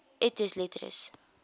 et des lettres